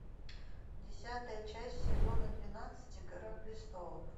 десятая часть сезона двенадцати игра престолов